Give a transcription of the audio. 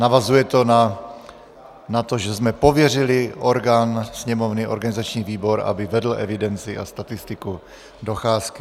Navazuje to na to, že jsme pověřili orgán Sněmovny, organizační výbor, aby vedl evidenci a statistiku docházky.